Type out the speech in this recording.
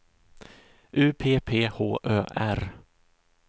U P P H Ö R